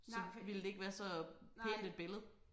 Så ville det ikke være så pænt et billede